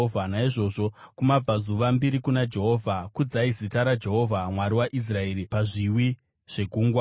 Naizvozvo kumabvazuva, mbiri kuna Jehovha; kudzai zita raJehovha Mwari waIsraeri pazviwi zvegungwa.